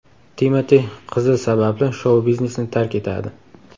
Timati qizi sababli shou-biznesni tark etadi.